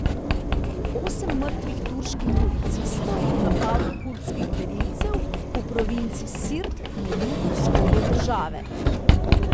Osem mrtvih turških policistov v napadu kurdskih gverilcev v provinci Sirt na jugovzhodu države.